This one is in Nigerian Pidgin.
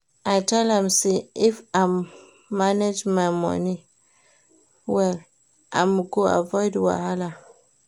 I tell am sey if im manage im money well, im go avoid wahala.